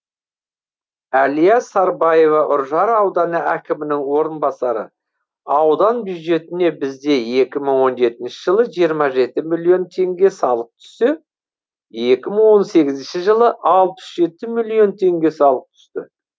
әлия сарбаева үржар ауданы әкімінің орынбасары аудан бюджетіне бізде екі мың он жетінші жылы жиырма жеті миллион теңге салық түссе екі мың он сегізінші жылы алпыс жеті миллион теңге салық түсті